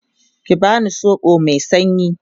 ki bani soɓo Mai sanyi!